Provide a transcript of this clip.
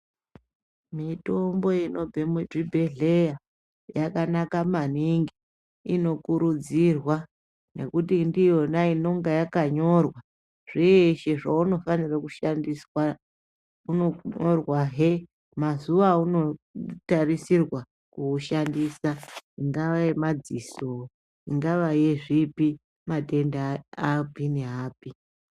Mitombo inobve muzvibhedhleya yakanaka maningi inokurudzirwa ngekuti ndiyona inenge yakanyorwa zveshe zvaunofanirwa kushandiswa unonyorwahe mazuva auno tarisirwa kushandisa ingava yemadziso ingava yezvipi matenda api ne api.